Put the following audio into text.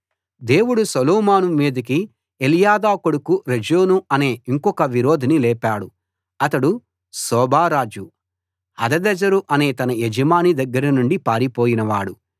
దేవుడు సొలోమోను మీదికి ఎల్యాదా కొడుకు రెజోను అనే ఇంకొక విరోధిని లేపాడు ఇతడు సోబా రాజు హదదెజరు అనే తన యజమాని దగ్గరనుండి పారిపోయినవాడు